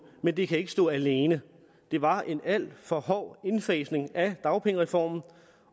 men det kan ikke stå alene det var en alt for hård indfasning af dagpengereformen